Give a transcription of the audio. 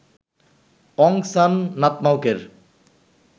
Aung San নাতমাউকের